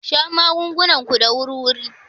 Sha magungunan ku da wuri-wuri.